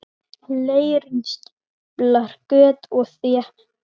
Leirinn stíflar göt og þéttir.